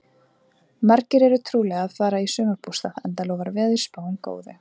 Margir eru trúlega að fara í sumarbústað enda lofar veðurspáin góðu.